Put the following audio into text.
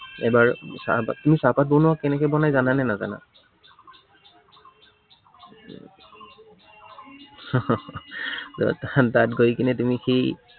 এবাৰ চাহপাত বা, তুমি চাহপাত বনোৱা কেনেকে বনাই জানানে নাজানা? তাত গৈ কেনে তুমি সেই